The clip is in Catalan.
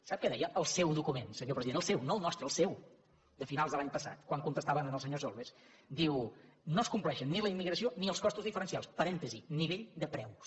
sap què deia el seu document senyor president el seu no el nostre el seu de finals de l’any passat quan contestaven al senyor solbes diu no es compleixen ni la immigració ni els costos diferencials parèntesi nivell de preus